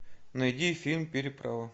найди фильм переправа